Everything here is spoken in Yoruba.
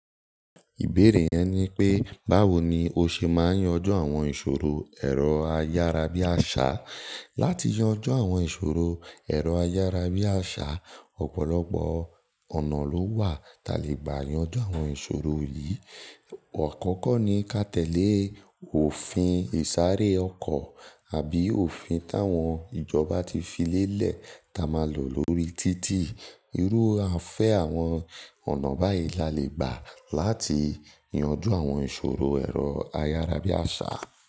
Ìbéèrè yẹn ni pé, báwo ni o ṣe máa yanjú àwọn ìṣòro ẹ̀rọ ayárabíàṣá? Láti yanjú àwọn ìṣòro ẹ̀rọ ayárabíàṣá, ọ̀pọ̀lọpọ̀ ọ̀nà ló wà ta lè gbà yanjú àwọn ìṣòro yìí. Òkókó ni ka tẹ̀lé òfin ìsáré ọkọ̀ àbí òfin táwọn ìjọba ti fi lélẹ̀ ta máa lò lórí títì. Irú afẹ́ àwọn ọ̀nà báyìí la lè gbà láti yanjú àwọn ìṣòro ẹ̀rọ ayárabíàṣá.